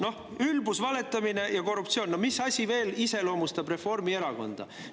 Noh, ülbus, valetamine ja korruptsioon – mis asi veel iseloomustab Reformierakonda?